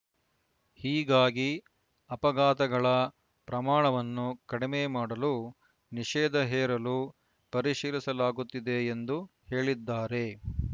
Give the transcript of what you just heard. ಹೀಗಾಗಿ ಅಪಘಾತಗಳ ಪ್ರಮಾಣವನ್ನು ಕಡಿಮೆ ಮಾಡಲು ನಿಷೇಧ ಹೇರಿಲು ಪರಿಶೀಲಿಸಲಾಗುತ್ತಿದೆ ಎಂದು ಹೇಳಿದ್ದಾರೆ